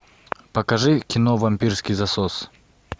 покажи кино вампирский засос